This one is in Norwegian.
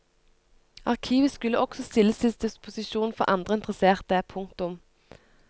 Arkivet skulle også stilles til disposisjon for andre interesserte. punktum